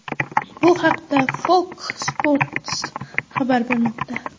Bu haqda Fox Sports xabar bermoqda .